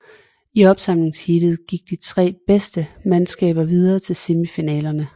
I opsamlingsheatet gik de tre bedste mandskaber videre til semifinalerne